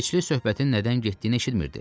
İsveçli söhbətin nədən getdiyini eşitmirdi.